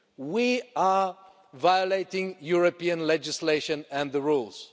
We are violating European legislation and the rules.